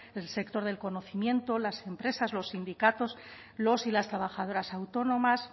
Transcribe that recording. el sector del conocimiento las empresas los sindicatos los y las trabajadoras autónomas